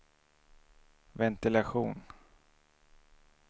ventilation